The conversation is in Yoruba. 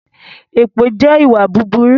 Èpè jẹ́ ìwà búburú